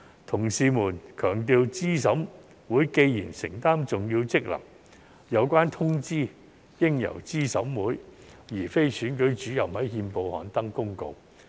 同事們強調資審會既承擔重要職能，有關通知應由資審會而非選舉主任在憲報刊登公告。